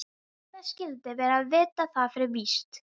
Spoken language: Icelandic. Hvernig skyldi vera að vita það fyrir víst.